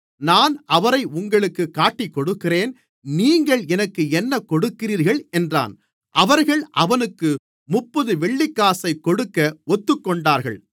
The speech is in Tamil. நான் அவரை உங்களுக்குக் காட்டிக்கொடுக்கிறேன் நீங்கள் எனக்கு என்ன கொடுக்கிறீர்கள் என்றான் அவர்கள் அவனுக்கு முப்பது வெள்ளிக்காசைக் கொடுக்க ஒத்துக்கொண்டார்கள்